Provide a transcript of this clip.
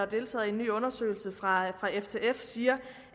deltaget i en ny undersøgelse fra ftf siger